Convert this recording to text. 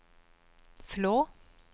Flå